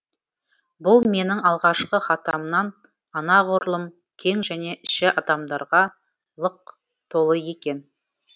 бұл менің алғашқы хатамнан анағұрлым кең және іші адамдарға лық толы екен